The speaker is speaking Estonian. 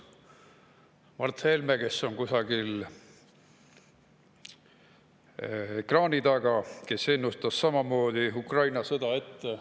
Mart Helme, kes on kusagil ekraani taga, ennustas samamoodi Ukraina sõda ette.